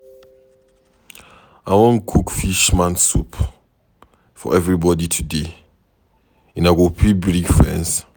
I wan cook fisherman soup for everybody today. Una go fit bring friends.